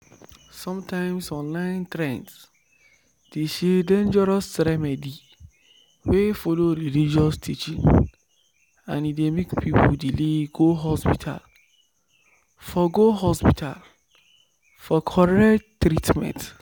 sometimes online trend dey share dangerous remedy wey follow religious teaching and e dey make people delay go hospital for go hospital for correct treatment